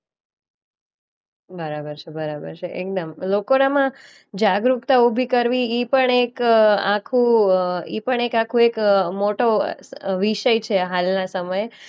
બરાબર છે. બરાબર છે એકદમ. લોકોનામાં જાગૃતતા ઉભી કરવી ઈ પણ એક અ આખું અ ઈ પણ એક આખું એક મોટો અ વિષય છે હાલના સમયે.